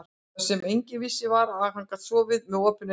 Það sem enginn vissi var, að hann gat sofið með OPIN AUGUN.